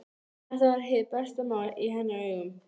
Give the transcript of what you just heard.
Þetta var hið besta mál í hennar augum.